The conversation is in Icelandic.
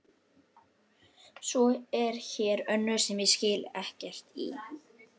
Svo er hér önnur sem ég skil ekkert í.